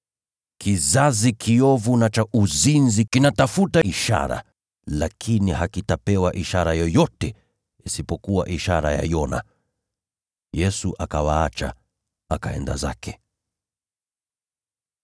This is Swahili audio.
Kizazi kiovu na cha uzinzi kinatafuta ishara, lakini hakitapewa ishara yoyote isipokuwa ishara ya Yona.” Yesu akawaacha, akaenda zake.